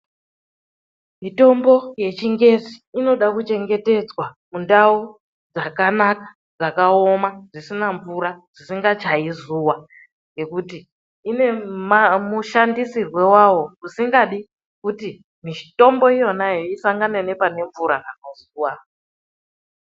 Mitombo yechingezi inoda kuchengetedzwa mundau dzakanaka, dzakaoma, dzisina mvura, dzisingachayi zuwa nekuti ine mushandisirwe wawo usingadi kuti mutombo iyonayo isangane nepanemvura kana zuwa.